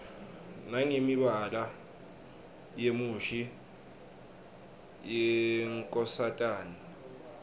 nangemibala yemushi yenkosatane